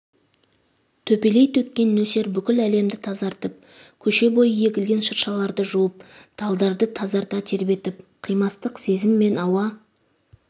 төпелей төккен нөсер бүкіл әлемді тазартып көше бойы егілген шыршаларды жуып талдарды тазарта тербетіп қимастық сезім мен ауа